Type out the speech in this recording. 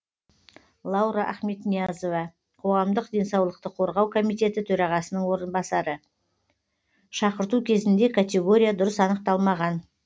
лаура ахметниязова қоғамдық денсаулықты қорғау комитеті төрағасының орынбасары шақырту кезінде категория дұрыс анықталмаған